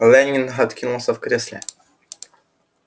лэннинг откинулся в кресле